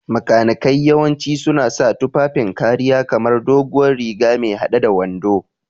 Makanikai yawanci suna sa tufafin kariya kamar doguwar riga me hade da wando.